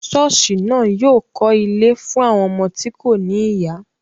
Ṣọọsi naa yóò kọ́ ilé fún àwọn ọmọ tí kò ní ìyá.